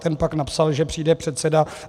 Ten pak napsal, že přijde předseda.